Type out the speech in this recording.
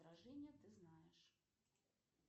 ты знаешь